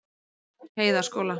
Heiðaskóla